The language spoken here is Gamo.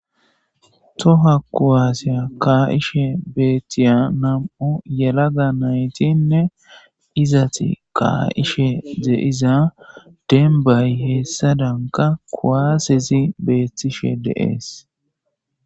Toha kowaaseya kaa7ishe beethtiya nam7o yelaga naytiinne izati kaa7ishe deiza denbay hessadanka kuwaasezi beettishe deees